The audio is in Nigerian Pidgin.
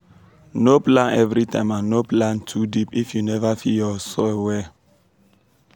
no plant everytime and no plant too deep if you never feed ur soil well.